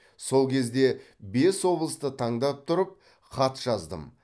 сол кезде бес облысты таңдап тұрып хат жаздым